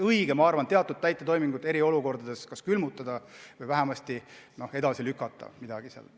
Minu arvates oleks õige teatud täitetoimingud eriolukorra ajal kas külmutada või vähemasti edasi lükata.